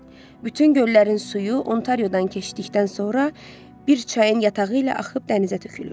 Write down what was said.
Bütün göllərin suyu Ontariodan keçdikdən sonra bir çayın yatağı ilə axıb dənizə tökülür.